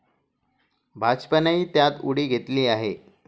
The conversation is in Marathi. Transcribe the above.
भाजपानेही त्यात उडी घेतली आहे.